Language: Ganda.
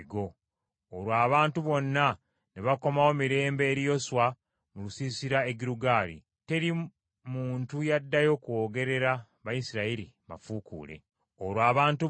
olwo abantu bonna ne bakomawo mirembe eri Yoswa mu lusiisira e Girugaali. Teri muntu yaddayo kwogerera Bayisirayiri mafuukuule.